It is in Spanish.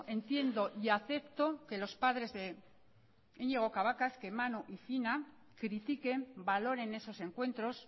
entiendo y acepto que los padres de iñigo cabacas que manu y fina critiquen valoren esos encuentros